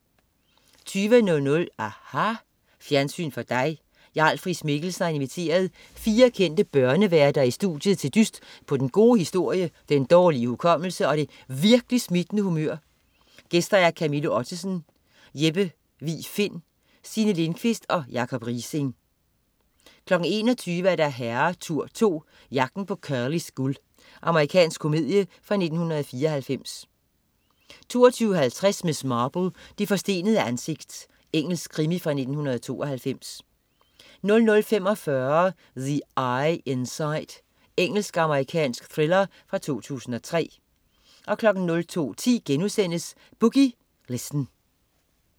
20.00 aHA! Fjernsyn for dig. Jarl Friis-Mikkelsen har inviteret fire kendte børneværter i studiet til en dyst på den gode historie, den dårlige hukommelse og det virk'li' smittende humør. Gæster: Camilla Ottesen, Jeppe Vig Find, Signe Lindkvist og Jacob Riising 21.00 Herretur 2. Jagten på Curlys guld. Amerikansk komedie fra 1994 22.50 Miss Marple: Det forstenede ansigt. Engelsk krimi fra 1992 00.45 The I Inside. Engelsk-amerikansk thriller fra 2003 02.10 Boogie Listen*